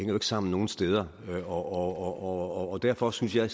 jo ikke sammen nogen steder og derfor synes jeg